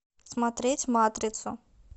смотреть матрицу